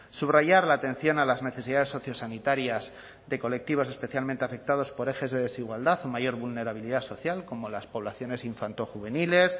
subrayar la atención a las necesidades sociosanitarias de colectivos especialmente afectados por ejes de desigualdad o mayor vulnerabilidad social como las poblaciones infanto juveniles